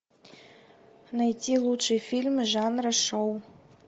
найти лучшие фильмы жанра шоу